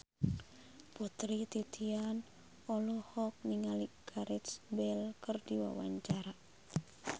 Putri Titian olohok ningali Gareth Bale keur diwawancara